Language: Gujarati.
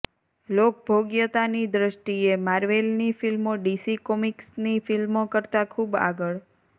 લોકભોગ્યતાની દૃષ્ટિએ માર્વેલની ફ્લ્મિો ડીસી કોમિક્સની ફ્લ્મિો કરતાં ખૂબ આગળ